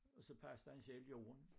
Og så passede han selv jorden